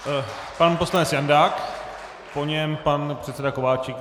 Pan poslanec Janák, po něm pan předseda Kováčik.